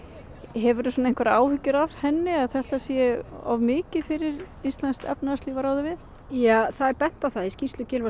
hefurðu einhverjar áhyggjur af henni að þetta sé of mikið fyrir íslenskt efnahagslíf að ráða við ja það er bent á það í skýrslu Gylfa